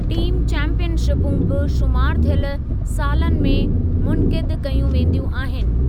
Team चैंपीयनशिपूं बि शुमारु थियल सालनि में मुनक़िद कयूं वेंदियूं आहिनि।